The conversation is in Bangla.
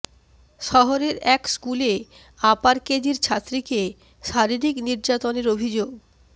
শহরের এক স্কুলে আপার কেজির ছাত্রীকে শারীরিক নির্যাতনের অভিযোগ